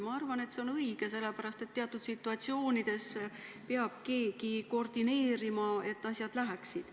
Ma arvan, et see on õige, sest teatud situatsioonides peab keegi koordineerima, et asjad edasi läheksid.